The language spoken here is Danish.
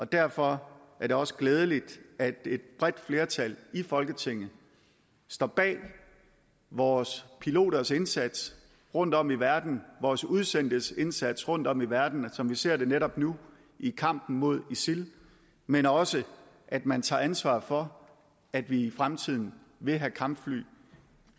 derfor er det også glædeligt at et bredt flertal i folketinget står bag vores piloters indsats rundtom i verden vores udsendtes indsats rundtom i verden som vi ser det netop nu i kampen mod isil men også at man tager ansvar for at vi i fremtiden vil have kampfly